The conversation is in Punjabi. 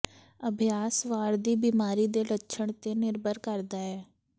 ਅਭਿਆਸ ਵਾਰ ਦੀ ਬਿਮਾਰੀ ਦੇ ਲੱਛਣ ਤੇ ਨਿਰਭਰ ਕਰਦਾ ਹੈ